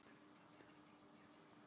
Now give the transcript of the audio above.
Hugur minn er með fjölskyldu hans.